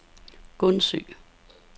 Gundsø